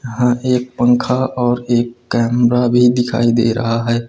यहां एक पंखा और एक कैमरा भी दिखाई दे रहा है।